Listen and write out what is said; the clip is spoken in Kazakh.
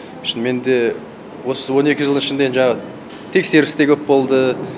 шынымен де осы он екі жылдың ішінде жаңағы тексеріс те көп болды